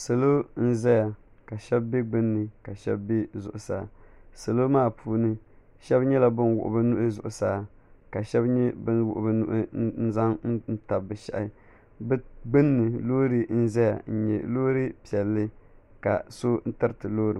Salo n zaya ka shɛba bɛ gbunni ka shɛba bɛ zuɣusaa salo maa puuni shɛba nyɛla bani wuɣi bi nuhi zuɣusaa ka shɛba nyɛ bini wuɣi bi nuhi n zaŋ tabi bi shɛhi bi gbunni loori n zaya n nyɛ loori piɛlli ka so tiriti loori.